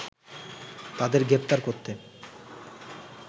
তাদের গ্রেফতার করতে